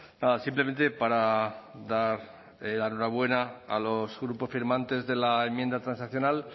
nada simplemente para dar la enhorabuena a los grupos firmantes de la enmienda transaccional